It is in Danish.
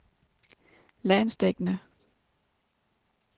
landsdækkende